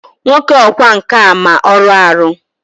Nwoke ọkwá nkà a ma ọrụ arụ!